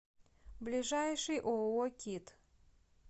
ближайший ооо кит